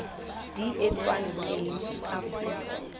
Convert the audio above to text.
di etswang teng ka poso